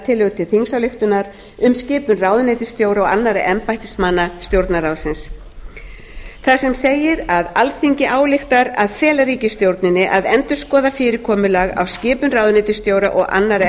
tillögu til þingsályktunar um skipun ráðuneytisstjóra og annarra embættismanna stjórnarráðsins þar sem segir að alþingi ályktar að fela ríkisstjórninni að endurskoða fyrirkomulag af skipun ráðuneytisstjóra og annarra